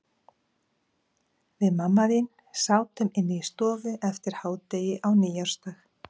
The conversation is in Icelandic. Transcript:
Við mamma þín sátum inni í stofu eftir hádegi á nýársdag.